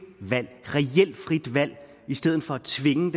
valg i stedet for at tvinge